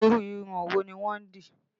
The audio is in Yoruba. Irú irun wo ni wọ́n dì?